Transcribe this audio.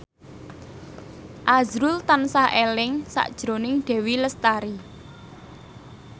azrul tansah eling sakjroning Dewi Lestari